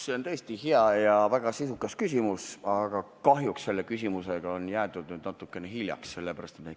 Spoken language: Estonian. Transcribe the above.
See on tõesti hea ja väga sisukas küsimus, aga kahjuks on sellega jäädud natukene hiljaks.